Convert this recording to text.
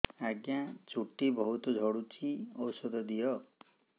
ଆଜ୍ଞା ଚୁଟି ବହୁତ୍ ଝଡୁଚି ଔଷଧ ଦିଅ